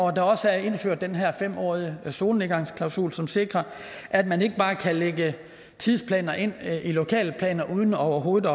at der også er indført den her fem årige solnedgangsklausul som sikrer at man ikke bare kan lægge tidsplaner ind i lokalplaner uden overhovedet